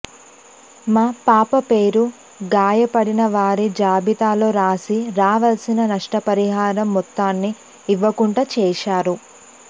మా పాప పేరు గాయపడిన వారి జాబితాలో రాసి రావాల్సిన నష్టపరిహారం మొత్తాన్ని ఇవ్వకుండా చేశారు